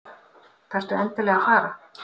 Þarftu endilega að fara?